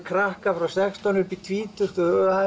krakkar frá sextán upp í tvítugt